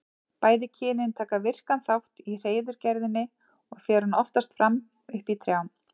Bæði kynin taka virkan þátt í hreiðurgerðinni og fer hún oftast fram uppi í trjám.